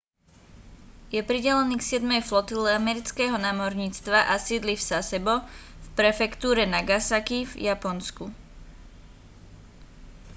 je pridelený k siedmej flotile amerického námorníctva a sídli v sasebo v prefektúre nagasaki v japonsku